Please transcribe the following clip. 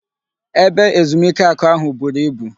Ebe ezumike aku ahu buru ibu